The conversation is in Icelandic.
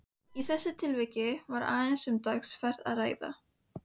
Í þessu tilviki var aðeins um dagsferð að ræða.